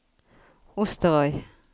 Osterøy